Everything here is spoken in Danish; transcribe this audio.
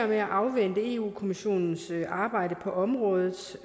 med at afvente europa kommissionens arbejde på området